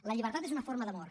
la llibertat és una forma d’amor